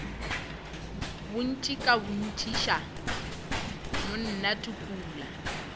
botši ka botšiša mna tukula